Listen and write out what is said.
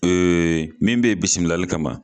min be bisimilali kama